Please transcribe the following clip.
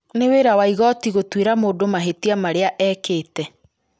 nĩ wĩra wa igooti gũtuĩra mũndũ mahĩtia marĩa ekĩte